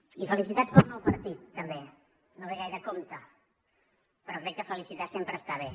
i felicitats pel nou partit també no ve gaire a tomb però crec que felicitar sempre està bé